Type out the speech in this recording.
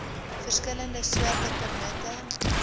verskillende soorte permitte